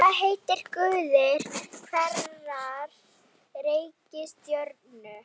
Hvað heita guðir hverrar reikistjörnu?